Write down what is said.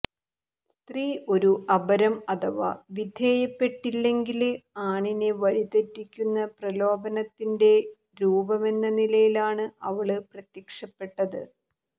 സ്ത്രീ ഒരു അപരം അഥവാ വിധേയപ്പെട്ടില്ലെങ്കില് ആണിനെ വഴിതെറ്റിക്കുന്ന പ്രലോഭനത്തിന്റെ രൂപമെന്ന നിലയിലാണ് അവള് പ്രത്യക്ഷപ്പെട്ടത്